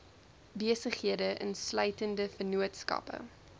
besighede insluitende vennootskappe